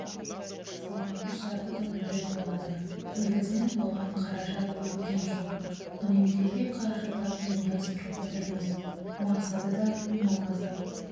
салмағы жарты тоннадай болады негізінен бұған қаражат бөлінген жоқ үнемделген қаражаттан ұйымдастырып отырмыз мақсаты да маңызы